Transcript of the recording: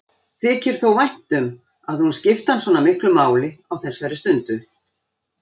Þykir þó vænt um að hún skipti hann svona miklu máli á þessari stundu.